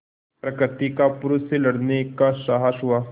प्रकृति का पुरुष से लड़ने का साहस हुआ